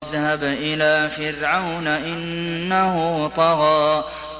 اذْهَبْ إِلَىٰ فِرْعَوْنَ إِنَّهُ طَغَىٰ